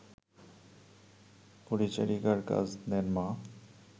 পরিচারিকার কাজ নেন মা